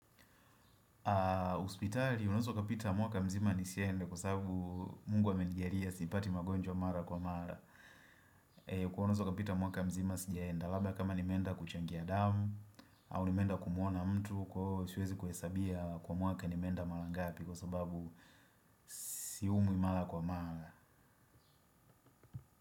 Hospitali unaweza ukapita mwaka mzima ni siende kwa sababu mungu amenijalia sipati magonjwa mara kwa mara kwa unaweza ukapita mwaka mzima sijaenda labda kama nimeenda kuchangia damu au nimeenda kumuona mtu kwahiosiwezi kuhesabia kwa mwaka nimeenda marangapi kwa sababu siumwi mara kwa mara.